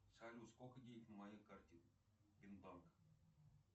салют сколько денег на моей карте бин банк